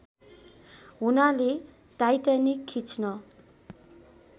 हुनाले टाइटानिक खिच्न